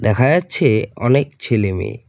দেখা যাচ্ছে অনেক ছেলে মেয়ে।